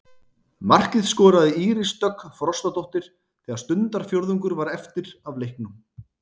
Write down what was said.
Markið skoraði Íris Dögg Frostadóttir þegar stundarfjórðungur var eftir af leiknum.